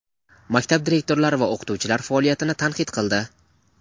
maktab direktorlari va o‘qituvchilar faoliyatini tanqid qildi.